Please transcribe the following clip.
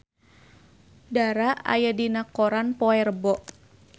Dara aya dina koran poe Rebo